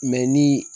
ni